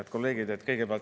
Head kolleegid!